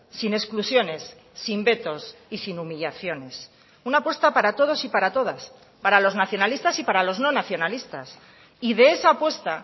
sin exclusiones sin vetos y sin humillaciones una apuesta para todos y para todas para los nacionalistas y para los no nacionalistas y de esa apuesta